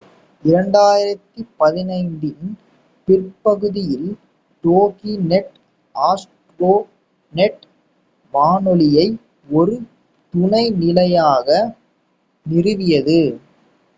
2015 இன் பிற்பகுதியில் Dokinet Astronet வானொலியை ஒரு துணை நிலையமாக நிறுவியது